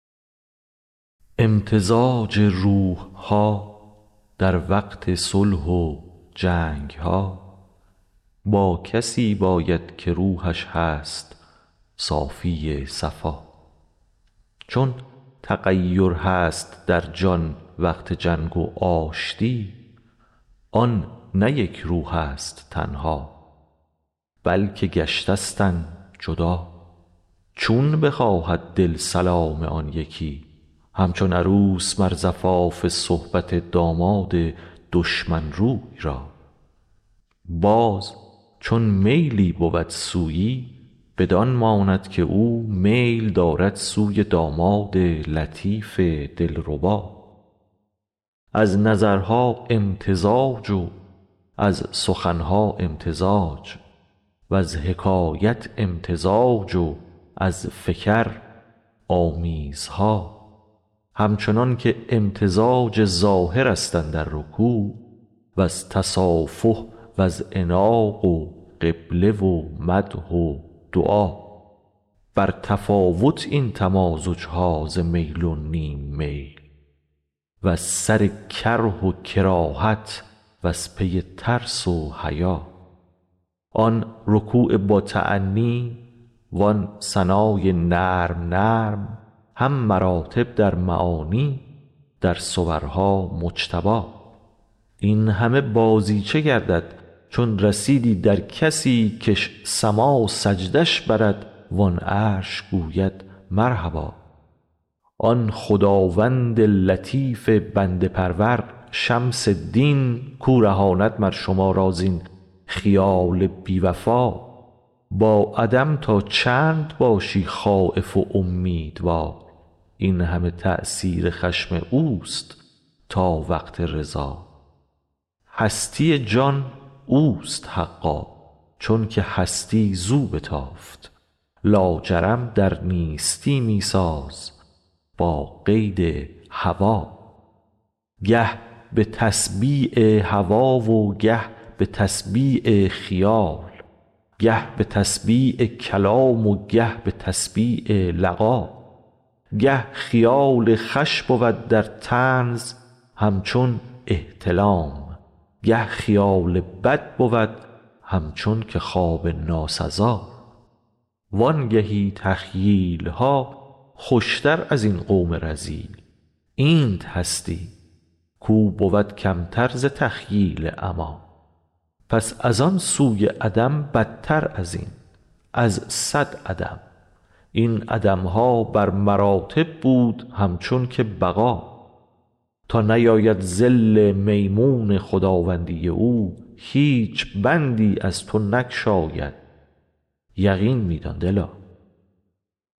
امتزاج روح ها در وقت صلح و جنگ ها با کسی باید که روحش هست صافی صفا چون تغیر هست در جان وقت جنگ و آشتی آن نه یک روحست تنها بلک گشتستند جدا چون بخواهد دل سلام آن یکی همچون عروس مر زفاف صحبت داماد دشمن روی را باز چون میلی بود سویی بدان ماند که او میل دارد سوی داماد لطیف دلربا از نظرها امتزاج و از سخن ها امتزاج وز حکایت امتزاج و از فکر آمیزها همچنانک امتزاج ظاهرست اندر رکوع وز تصافح وز عناق و قبله و مدح و دعا بر تفاوت این تمازج ها ز میل و نیم میل وز سر کره و کراهت وز پی ترس و حیا آن رکوع باتأنی وان ثنای نرم نرم هم مراتب در معانی در صورها مجتبا این همه بازیچه گردد چون رسیدی در کسی کش سما سجده اش برد وان عرش گوید مرحبا آن خداوند لطیف بنده پرور شمس دین کو رهاند مر شما را زین خیال بی وفا با عدم تا چند باشی خایف و امیدوار این همه تأثیر خشم اوست تا وقت رضا هستی جان اوست حقا چونک هستی زو بتافت لاجرم در نیستی می ساز با قید هوا گه به تسبیع هوا و گه به تسبیع خیال گه به تسبیع کلام و گه به تسبیع لقا گه خیال خوش بود در طنز همچون احتلام گه خیال بد بود همچون که خواب ناسزا وانگهی تخییل ها خوشتر از این قوم رذیل اینت هستی کو بود کمتر ز تخییل عما پس از آن سوی عدم بدتر از این از صد عدم این عدم ها بر مراتب بود همچون که بقا تا نیاید ظل میمون خداوندی او هیچ بندی از تو نگشاید یقین می دان دلا